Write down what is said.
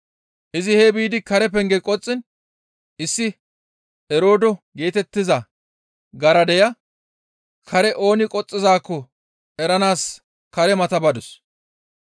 Izi hee biidi kare penge qoxxiin issi Eroodo geetettiza garadeya kare ooni qoxxizaakko eranaas kare mata badus.